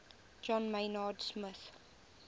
john maynard smith